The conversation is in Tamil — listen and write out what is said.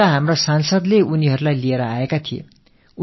அலீகட்டின் நாடாளுமன்ற உறுப்பினர் அவர்களை அழைத்து வந்திருந்தார்